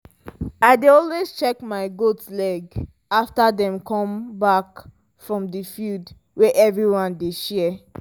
i dey always check my goat leg after dem come back from the field wey everyone dey share